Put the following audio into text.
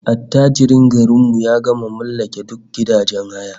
Attajiran garin mu gama mallake duk gidajen haya